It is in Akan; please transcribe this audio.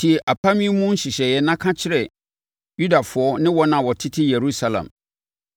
“Tie apam yi mu nhyehyɛeɛ na ka kyerɛ Yudafoɔ ne wɔn a wɔtete Yerusalem.